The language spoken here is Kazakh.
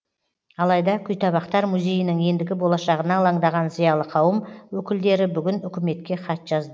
алайда күйтабақтар музейінің ендігі болашағына алаңдаған зиялы қауым өкілдері бүгін үкіметке хат жазды